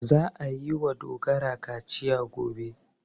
Za a yi wa Dogara kaciya gobe.